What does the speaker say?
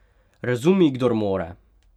Razumi, kdor more!